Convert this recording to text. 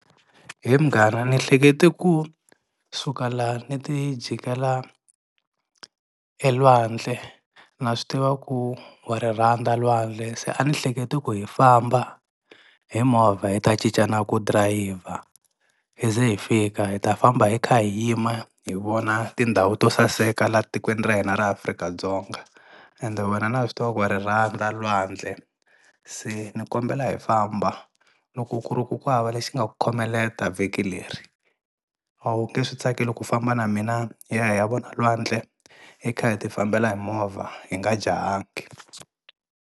He munghana ni hleketa kusuka la ni ti jikela elwandle na swi tiva ku wa ri rhandza lwandle se a ni hlekete ku hi famba hi movha hi ta cicana ku dirayivha hi ze hi fika hi ta famba hi kha hi yima hi vona tindhawu to saseka la tikweni ra hina ra Afrika-Dzonga ende wena na swi tiva ku wa ri rhandza lwandle se ni kombela hi famba loko ku ri ku ku hava lexi nga ku khomelela vhiki leri a wu nge swi tsakeli ku famba na mina hi ya hi ya vona lwandle hi kha hi ti fambela hi movha hi nga jahangi.